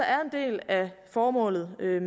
er en del af formålet med